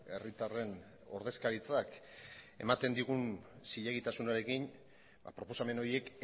herritarren ordezkaritzak ematen digun zilegitasunarekin proposamen horiek